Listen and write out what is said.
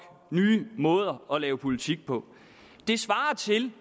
nye måder at lave politik på det svarer til